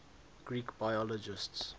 greek biologists